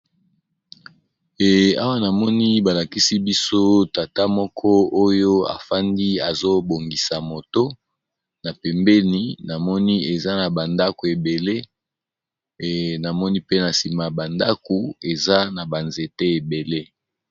Awa namoni ba lakisi biso tata moko oyo afandi azo bongisa moto, na pembeni namoni eza ba ndaku ebele namoni pe na nsima ba ndako eza na ba nzete ebele.